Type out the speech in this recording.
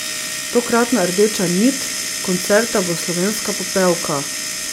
Tokratna rdeča nit koncerta bo Slovenska popevka.